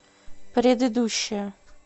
предыдущая